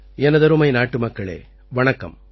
எனதருமை நாட்டுமக்களே வணக்கம்